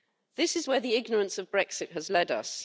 This is where the ignorance of Brexit has led us.